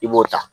I b'o ta